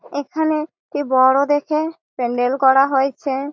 এখানে একটি বড় দেখে প্যান্ডেল করা হয়েছে ।